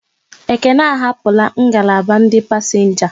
Ekene ahapura ngalaba ndị pasenga